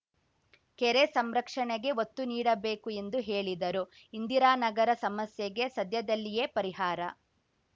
ಕೆರೆ ಸಂರಕ್ಷಣೆಗೆ ಒತ್ತು ನೀಡಬೇಕು ಎಂದು ಹೇಳಿದರು ಇಂದಿರಾನಗರ ಸಮಸ್ಯೆಗೆ ಸದ್ಯದಲ್ಲಿಯೇ ಪರಿಹಾರ